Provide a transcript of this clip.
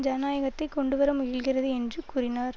ஜனநாயகத்தை கொண்டுவர முயல்கிறது என்றும் கூறினார்